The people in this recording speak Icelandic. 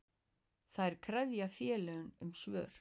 Þær krefja félagið um svör.